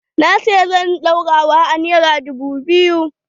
Na saya zanin ɗaurawa a nera dubu biyu.